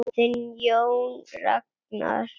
Þinn Jón Ragnar.